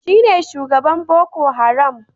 Shi ne shugaban Boko Haram.